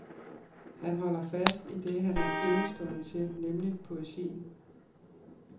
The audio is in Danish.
Han holder fast i det han er enestående til, nemlig poesien.